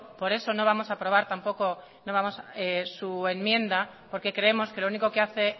por eso no vamos a aprobar tampoco su enmienda porque creemos que lo único que hace